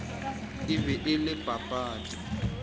e be e le papadi